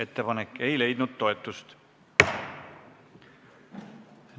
Ettepanek ei leidnud toetust.